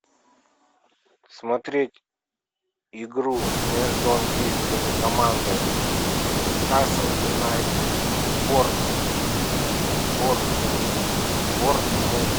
смотреть игру между английскими командами ньюкасл юнайтед и борнмут